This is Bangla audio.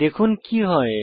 দেখুন কি হয়